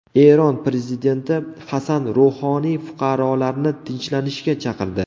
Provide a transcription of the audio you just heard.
Eron prezidenti Hasan Ruhoniy fuqarolarni tinchlanishga chaqirdi.